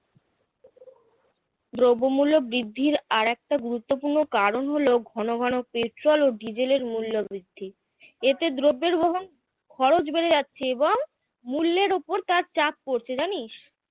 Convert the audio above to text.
দ্রব্যমূল্য বৃদ্ধির আর একটা গুরুত্বপূর্ণ কারণ হল ঘন ঘন পেট্রোল ও ডিজেলের মূল্যবৃদ্ধি এতে দ্রব্যের বহন খরচ বেড়ে যাচ্ছে এবং মুল্যের উপর তার চাপ পড়ছে জানিস